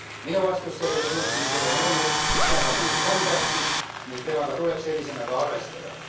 Minu vastus sellele suhtumisele on olnud parlament on tähtis ning temaga tuleb sellisena ka arvestada.